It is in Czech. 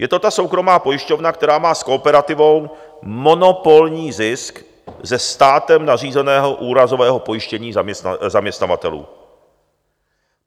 Je to ta soukromá pojišťovna, která má s Kooperativou monopolní zisk ze státem nařízeného úrazového pojištění zaměstnavatelů.